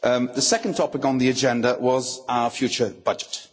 The second topic on the agenda was our future budget.